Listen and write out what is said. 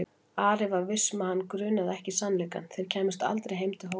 Ari var viss um að hann grunaði ekki sannleikann: þeir kæmust aldrei heim til Hóla.